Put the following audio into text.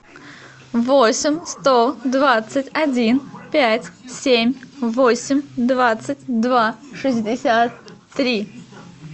восемь сто двадцать один пять семь восемь двадцать два шестьдесят три